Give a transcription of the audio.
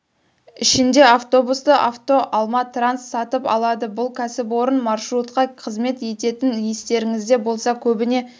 ішінде автобусты авто алма транс сатып алады бұл кәсіпорын маршрутқа қызмет ететін естеріңізде болса көбіне